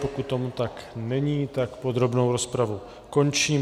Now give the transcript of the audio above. Pokud tomu tak není, tak podrobnou rozpravu končím.